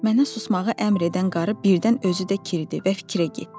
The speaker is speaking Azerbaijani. Mənə susmağı əmr edən qarı birdən özü də kiridi və fikrə getdi.